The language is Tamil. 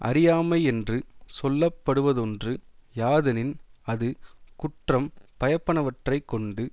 அறியாமையென்று சொல்லப்படுவதொன்று யாதெனின் அது குற்றம் பயப்பனவற்றைக் கொண்டு